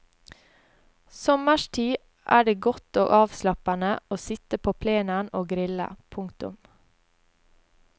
Sommerstid er det godt og avslappende å sitte på plenen å grille. punktum